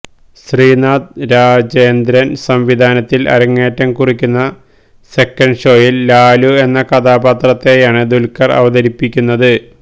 ശ്രീനാഥ് രാജേന്ദ്രന് സംവിധാനത്തില് അരങ്ങേറ്റംകുറിക്കുന്ന സെക്കന്റ്ഷോയില് ലാലു എന്ന കഥാപാത്രത്തെയാണ് ദുല്ഖര് അവതരിപ്പിക്കുന്നത്